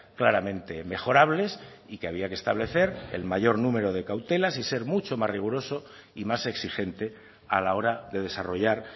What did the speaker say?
claramente mejorables y que había que establecer el mayor número de cautelas y ser mucho más riguroso y más exigente a la hora de desarrollar